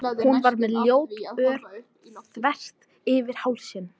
Hún var með ljótt ör þvert yfir hálsinn.